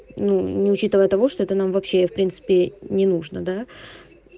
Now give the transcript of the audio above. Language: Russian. ну ни учитывая того что это нам вообще в принципе не нужна да